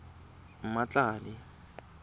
mmatladi